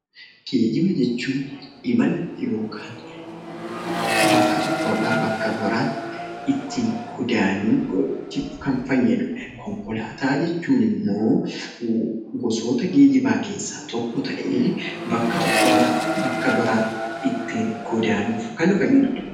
Geejjiba jechuun; imaala ykn bakka tokko irraa bakka biraatti ittin godaanuf Kan faayyaduudha. Konkolaataa jechuun immoo, gosoota geejjiba keessa tokko ta'ee bakka tokko irraa bakka biraatti ittin godaanuf Kan faayyaduudha.